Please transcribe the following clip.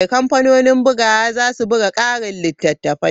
Kamfanonin bugawa za su buga ƙarin littattafai.